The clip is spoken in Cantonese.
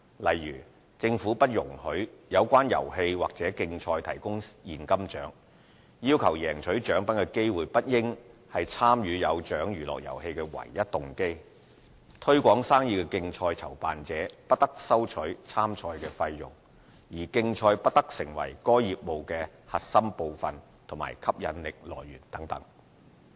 例如，政府不容許有關遊戲或競賽提供現金獎、要求贏取獎品的機會不應是參與"有獎娛樂遊戲"的唯一動機、"推廣生意的競賽"籌辦者不得收取參賽費用，而競賽不得成為該業務的核心部分或吸引力來源等。